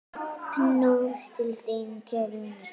Knús til þín, kæri vinur.